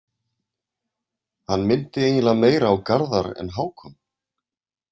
Hann minnti eiginlega meira á Garðar en Hákon.